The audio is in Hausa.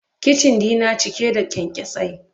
Kicin dina cike da kyankyasai.